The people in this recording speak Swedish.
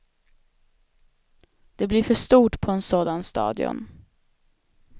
Det blir för stort på en sådan stadion.